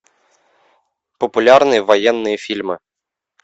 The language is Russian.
популярные военные фильмы